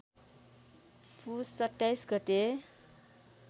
पुस २७ गते